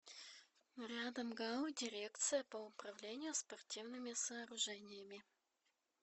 рядом гау дирекция по управлению спортивными сооружениями